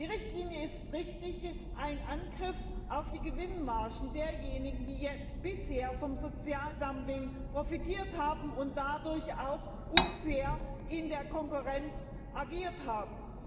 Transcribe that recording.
Die Richtlinie ist richtig ein Angriff auf die Gewinnmargen derjenigen, die bisher vom Sozialdumping profitiert haben und dadurch auch unfair in der Konkurrenz agiert haben.